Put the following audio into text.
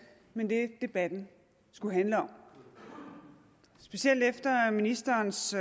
med det debatten skulle handle om specielt efter ministerens